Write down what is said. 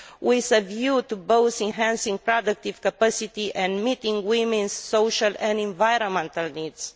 with a view to both enhancing productive capacity and meeting women's social and environmental needs.